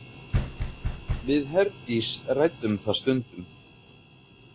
Við Herdís ræddum það stundum.